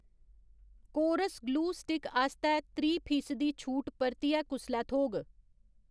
कोरस glue stick आस्तै त्रीह् फीसदी छूट परतियै कुसलै थ्होग?